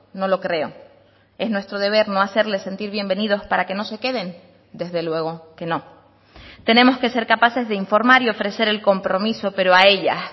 no lo creo es nuestro deber no hacerles sentir bienvenidos para que no se queden desde luego que no tenemos que ser capaces de informar y ofrecer el compromiso pero a ellas